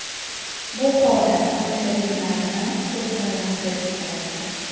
Bu holat tomoshabinlarni to‘lqinlantirib yubordi.